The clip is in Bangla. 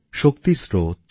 শক্তির স্রোত